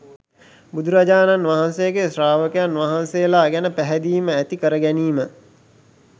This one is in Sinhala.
බුදුරජාණන් වහන්සේගේ ශ්‍රාවකයන් වහන්සේලා ගැන පැහැදීම ඇති කරගැනීම